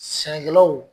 Sɛnɛkɛlaw